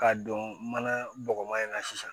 K'a don mana bɔgɔma in na sisan